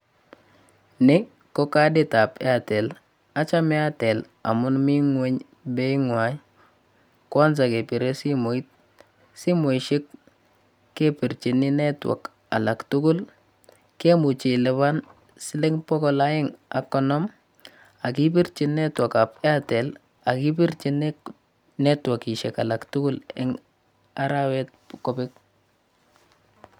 Ni ko kaditab Airtel, achame airtel amun mi ng'weny beeingwai kwanza kepire simet. Simoishek kepirchini netwak alak tugul, kemuchi kelipan siling bokol aeng ak konom ak kipirchi netwakab airtel ak kipirchi netwakishiek alak tugul eng arawet kobek.